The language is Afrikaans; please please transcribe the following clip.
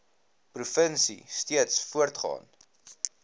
provinsie steeds voortgaan